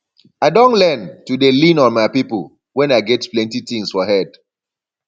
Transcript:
i don learn to dey lean on my people when i get plenty tins for head